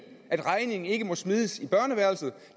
at regningen ikke må smides i børneværelset